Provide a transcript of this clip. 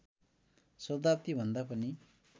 शताब्दी भन्दा पनि